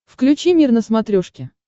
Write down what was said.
включи мир на смотрешке